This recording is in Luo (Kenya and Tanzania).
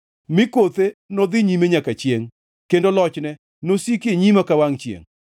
ni kothe nodhi nyime nyaka chiengʼ kendo lochne nosiki e nyima ka wangʼ chiengʼ;